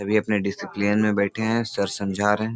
सभी अपने डिसिप्लिन में बैठे है सर समझा रहे --